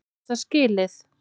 Er það skilið?